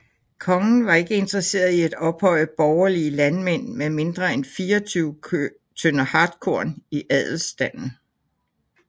Kongen var ikke interesseret i at ophøje borgerlige landmænd med mindre end 24 tønder hartkorn i adelstanden